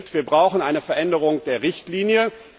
Wir brauchen eine Veränderung der Richtlinie.